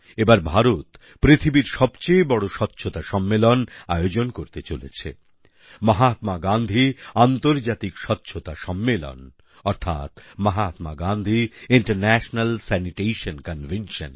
এবার ভারত পৃথিবীর সবচেয়ে বড় স্বচ্ছতা সম্মেলন আয়োজন করতে চলেছে মহাত্মা গান্ধী আন্তর্জাতিক স্বচ্ছতা সম্মেলন অর্থাৎ Mahatma Gandhi international sanitation convention